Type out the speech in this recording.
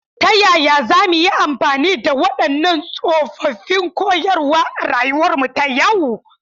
Ta yaya za mu yi amfani da waɗannan tsoffin koyarwa a rayuwarmu ta yau?